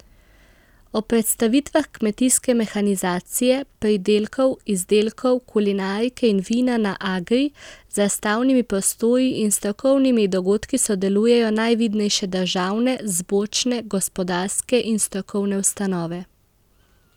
Ob predstavitvah kmetijske mehanizacije, pridelkov, izdelkov, kulinarike in vina na Agri z razstavnimi prostori in strokovnimi dogodki sodelujejo najvidnejše državne, zbornične, gospodarske in strokovne ustanove.